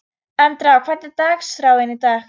Andrá, hvernig er dagskráin í dag?